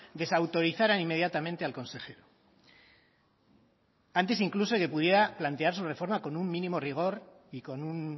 desautorizara inmediatamente al consejero antes incluso de que pudiera plantear su reforma con un mínimo rigor y con un